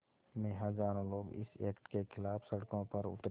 में हज़ारों लोग इस एक्ट के ख़िलाफ़ सड़कों पर उतरे